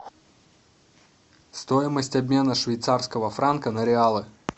стоимость обмена швейцарского франка на реалы